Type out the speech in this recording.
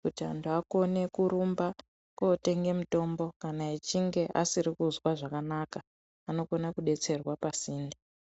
kuti anthu akone kurumba kotenge mitombo kana achinge asiri kuzwa zvakanaka. Anokona kudetserwa pasinde.